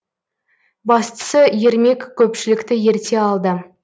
бастысы ермек көпшілікті ерте алды